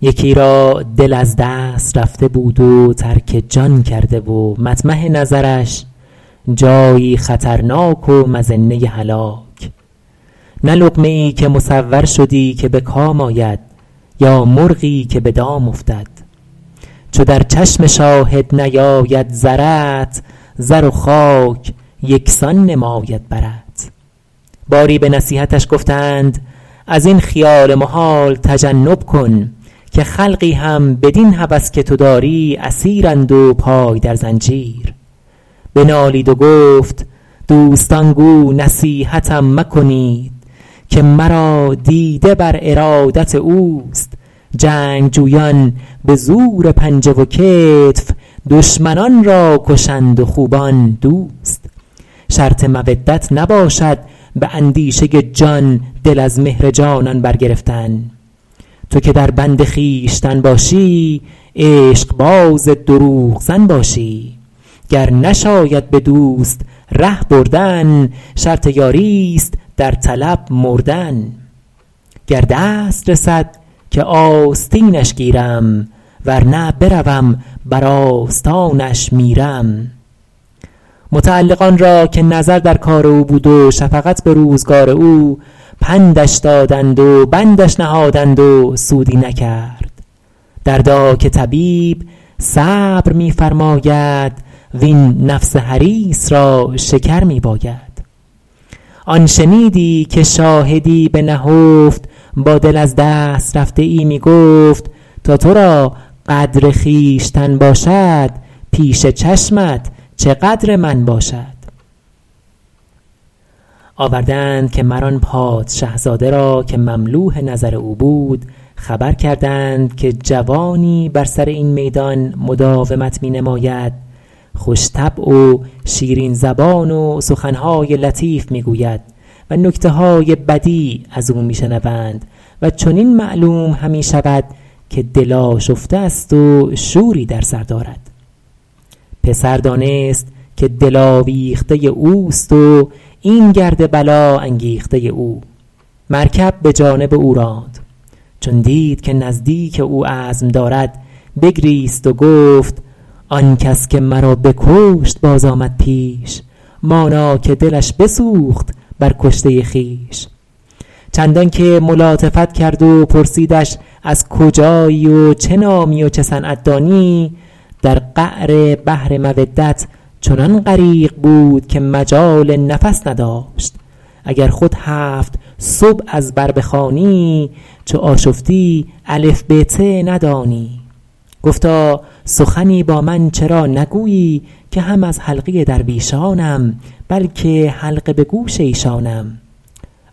یکی را دل از دست رفته بود و ترک جان کرده و مطمح نظرش جایی خطرناک و مظنه هلاک نه لقمه ای که مصور شدی که به کام آید یا مرغی که به دام افتد چو در چشم شاهد نیاید زرت زر و خاک یکسان نماید برت باری به نصیحتش گفتند از این خیال محال تجنب کن که خلقی هم بدین هوس که تو داری اسیرند و پای در زنجیر بنالید و گفت دوستان گو نصیحتم مکنید که مرا دیده بر ارادت اوست جنگجویان به زور پنجه و کتف دشمنان را کشند و خوبان دوست شرط مودت نباشد به اندیشه جان دل از مهر جانان برگرفتن تو که در بند خویشتن باشی عشق باز دروغ زن باشی گر نشاید به دوست ره بردن شرط یاری است در طلب مردن گر دست رسد که آستینش گیرم ور نه بروم بر آستانش میرم متعلقان را که نظر در کار او بود و شفقت به روزگار او پندش دادند و بندش نهادند و سودی نکرد دردا که طبیب صبر می فرماید وین نفس حریص را شکر می باید آن شنیدی که شاهدی به نهفت با دل از دست رفته ای می گفت تا تو را قدر خویشتن باشد پیش چشمت چه قدر من باشد آورده اند که مر آن پادشه زاده که مملوح نظر او بود خبر کردند که جوانی بر سر این میدان مداومت می نماید خوش طبع و شیرین زبان و سخن های لطیف می گوید و نکته های بدیع از او می شنوند و چنین معلوم همی شود که دل آشفته است و شوری در سر دارد پسر دانست که دل آویخته اوست و این گرد بلا انگیخته او مرکب به جانب او راند چون دید که نزدیک او عزم دارد بگریست و گفت آن کس که مرا بکشت باز آمد پیش مانا که دلش بسوخت بر کشته خویش چندان که ملاطفت کرد و پرسیدش از کجایی و چه نامی و چه صنعت دانی در قعر بحر مودت چنان غریق بود که مجال نفس نداشت اگر خود هفت سبع از بر بخوانی چو آشفتی الف ب ت ندانی گفتا سخنی با من چرا نگویی که هم از حلقه درویشانم بلکه حلقه به گوش ایشانم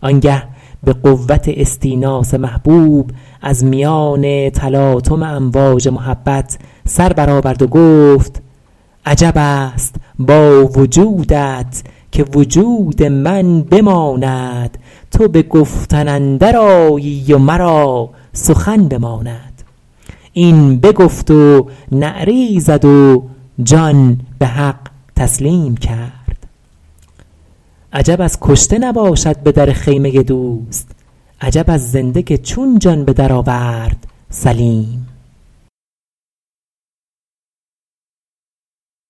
آن گه به قوت استیناس محبوب از میان تلاطم امواج محبت سر برآورد و گفت عجب است با وجودت که وجود من بماند تو به گفتن اندر آیی و مرا سخن بماند این بگفت و نعره ای زد و جان به حق تسلیم کرد عجب از کشته نباشد به در خیمه دوست عجب از زنده که چون جان به در آورد سلیم